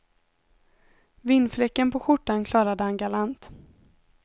Vinfläcken på skjortan klarade han galant.